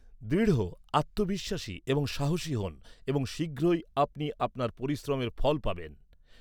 দৃঢ়, আত্মবিশ্বাসী এবং সাহসী হোন, এবং শীঘ্রই আপনি আপনার পরিশ্রমের ফল পাবেন।